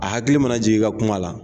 A hakili mana jigin i ka kuma la